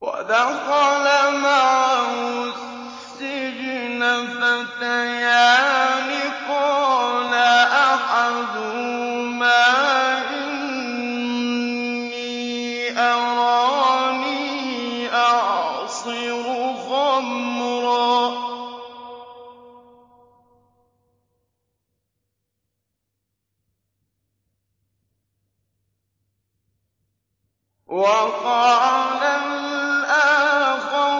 وَدَخَلَ مَعَهُ السِّجْنَ فَتَيَانِ ۖ قَالَ أَحَدُهُمَا إِنِّي أَرَانِي أَعْصِرُ خَمْرًا ۖ وَقَالَ الْآخَرُ